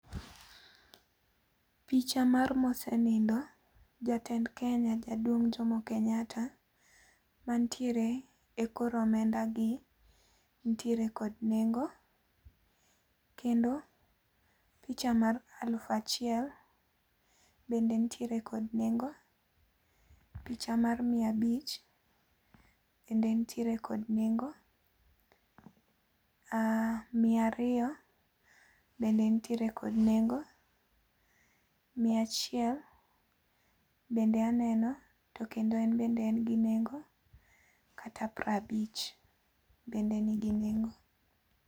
Picha mar mosenindo, jatend Kenya Jaduong' Jomo Kenyatta, mantiere e kor omenda gi nitiere kod nengo. Kendo picha mar aluf achiel bende nitiere kod nengo. Picha mar mia abich bende nitiere kod nengo. Mia ariyo bende nitiere kod nengo. Miachiel bende aneno to kendo en bende en gi nengo kata piero abich bende nigi nengo.